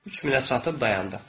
3000-ə çatıb dayandı.